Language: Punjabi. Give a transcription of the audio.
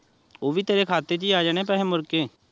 ਓਹ ਵੀ ਤੇਰੇ ਖਾਤੇ ਚ ਈ ਆ ਜਾਣੇ ਐ ਪੈਸੇ ਮੁਰ ਕੇ